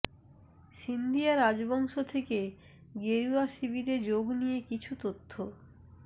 সিন্ধিয়া রাজবংশ থেকে গেরুয়া শিবিরে যোগ নিয়ে কিছু তথ্য